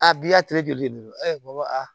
A bi yatire joli de don